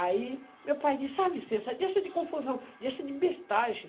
Aí meu pai disse, ah, Vicença, deixa de confusão, deixa de bestagem.